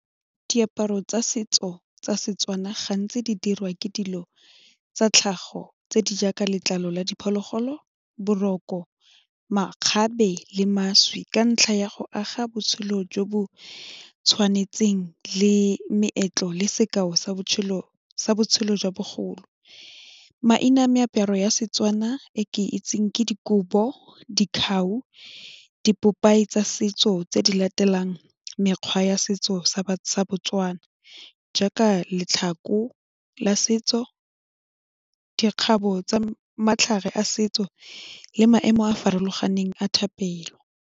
Diaparo tsa setso tsa setswana gantsi di dirwa ke dilo tsa tlhago tse di jaaka letlalo la diphologolo, boroko, makgabe le mašwi ka ntlha ya go aga botshelo jo bo tshwanetseng le meetlo le sekao sa botshelo jwa bogolo, maina a meaparo ya Setswana e ke itseng ke dikobo, dikgau dipopae tsa setso tse di latelang mekgwa ya setso sa batswana jaaka letlhako la setso, dikgabo tsa matlhare a setso le maemo a a farologaneng a thapelo.